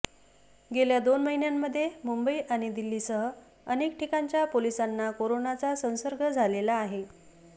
गेल्या दोन महिन्यांमध्ये मुंबई आणि दिल्लीसह अनेक ठिकाणच्या पोलिसांना कोरोनाचा संसर्ग झालेला आहे